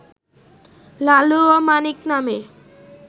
লালু ও মানিক নামে